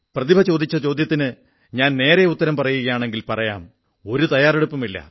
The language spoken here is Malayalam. പ്രതിഭ ചോദിച്ച ചോദ്യത്തിന് ഞാൻ നേരെ ഉത്തരം പറയുകയാണെങ്കിൽ പറയാംഒരു തയ്യാറെടുപ്പുമില്ല